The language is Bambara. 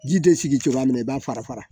Ji tɛ sigi cogoya min na i b'a fara fara